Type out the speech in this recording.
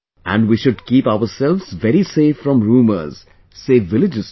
And we should keep ourselves very safe from rumours, save villages too